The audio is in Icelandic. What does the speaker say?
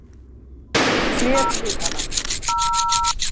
Lék við hana.